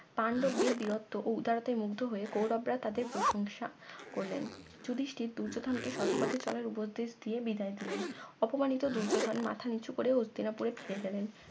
পান্ডবদের বীরত্ব ও উদারতায় মুগ্ধ হয়ে কৌরব রা তাদের প্রসংশা করলেন যুধিষ্টির দুর্যোধন কে সৎপথে চলার উপদেশ দিয়ে বিদায় দিলেন অপমানিত দুর্যোধন মাথা নিচু করে হস্তিনাপুরে ফিরে গেলেন